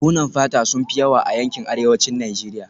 Buhunan fata sun fi yawa a yankin arewacin Najeriya